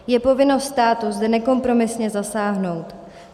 Je povinností státu zde nekompromisně zasáhnout.